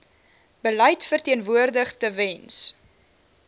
beleid verteenwoordig tewens